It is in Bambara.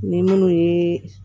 Ni minnu ye